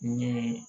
Ni